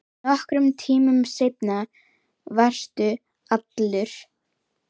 Nokkrum tímum seinna varstu allur.